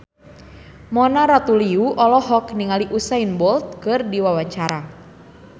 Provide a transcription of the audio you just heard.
Mona Ratuliu olohok ningali Usain Bolt keur diwawancara